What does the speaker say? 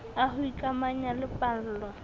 a ho ikamanya le pallo